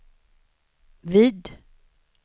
vid